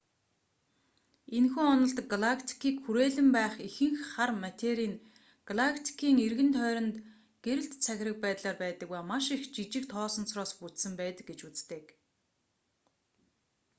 энэхүү онолд галактикийг хүрээлэн байх ихэнх хар матери нь галактикын эргэн тойронд гэрэлт цагираг байдлаар байдаг ба маш их жижиг тоосонцороос бүтсэн байдаг гэж үздэг